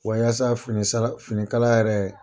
Wa yasa fini finikala yɛrɛ